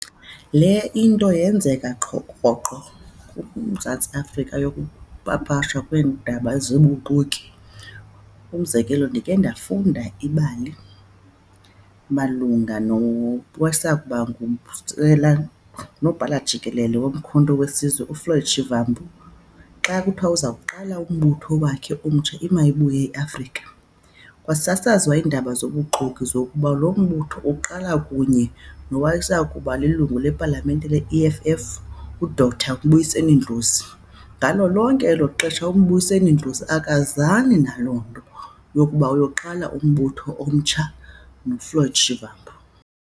Le into yenzeka qho, rhoqo kuMzantsi Afrika yokupapashwa kweendaba zobuxoki. Umzekelo, ndikhe ndafunda ibali malunga nowayesakuba ngunobhala jikelele woMkhonto Wesizwe, uFloyd Shivambu xa kuthiwa uza kuqala umbutho wakhe omtsha, iMayibuye iAfrika. Kwasasazwa iindaba zobuxoki zokuba lo mbutho uqala kunye nowayesakuba lilungu lePalamente leE_F_F, uDr Mbuyiseni Ndlozi. Ngalo lonke elo xesha uMbuyiseni Ndlozi akazani naloo nto yokuba uyokuqala umbutho omtsha noFloyd Shivambu.